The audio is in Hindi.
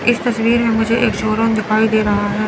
इस तस्वीर में मुझे एक शोरूम दिखाई दे रहा है।